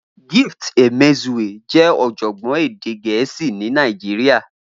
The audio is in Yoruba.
Gift Emezue jẹ́ ọ̀jọ̀gbọ́n èdè Gẹ̀ẹ́sì ní Nàìjíríà.